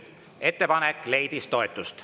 Ettepanek leidis toetust.